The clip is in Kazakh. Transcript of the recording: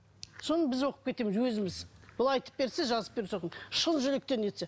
соны біз оқып кетеміз өзіміз бұл айтып берсе жазып берсе оған шын жүректен нетсе